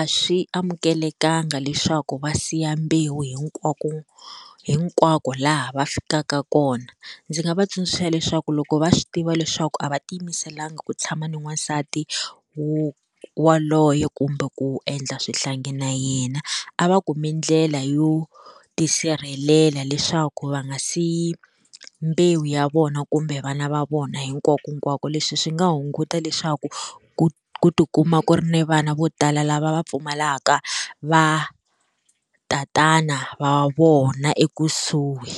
a swi amukelekanga leswaku va siya mbewu hinkwako hinkwako laha va fikaka kona ndzi nga va tsundzuxa leswaku loko va swi tiva leswaku a va ti yimiselanga ku tshama ni n'wansati wu waloyo kumbe ku endla swihlangi na yena a va kumi ndlela yo tisirhelela leswaku va nga siyi mbewu ya vona kumbe vana va vona hinkwakonkwako leswi swi nga hunguta leswaku ku ku tikuma ku ri ni vana vo tala lava va pfumalaka va tatana va vona ekusuhi.